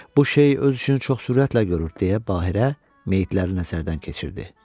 Bu şey öz üçün çox sürətlə görür, deyə Bahirə meyitləri nəzərdən keçirdi.